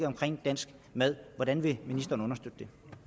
omkring dansk mad hvordan vil